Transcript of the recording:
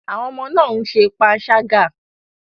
Àwọn ọmọ náà ń ṣe panṣágà.